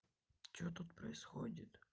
что тут происходит